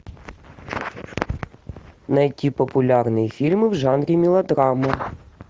найти популярные фильмы в жанре мелодрама